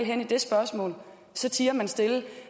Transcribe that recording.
henne i det spørgsmål så tier man stille